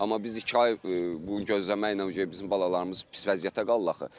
Amma biz iki ay gözləməklə bizim balalarımız pis vəziyyətə qalırlar axı.